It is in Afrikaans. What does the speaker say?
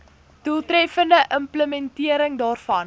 doeltreffende implementering daarvan